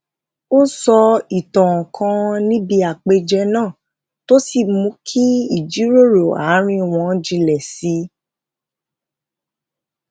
ó sọ ìtàn kan níbi àpèjẹ náà tó sì mú kí ìjíròrò àárín wọn jinlẹ sí i